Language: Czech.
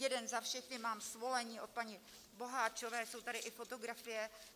Jeden za všechny, mám svolení od paní Boháčové, jsou tady i fotografie.